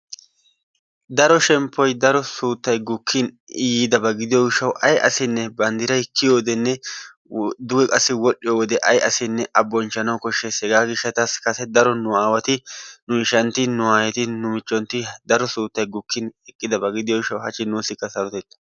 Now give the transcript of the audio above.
Daro shemppoy daro suutaay gukkin yiidaba gidiyo gishawu bandiorray kiyiyodenne duge qassi wodhiyo wode ay asinne a bonchchanawu koshshees, hegaa gishatasi kase daro nuwati nuwayeti nuyshanti nu micheti daro suttay gukkineqaba gidiyo gishawu hachi nuusikka sarotetta.